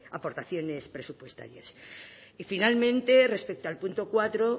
las aportaciones presupuestarias y finalmente respecto al punto cuatro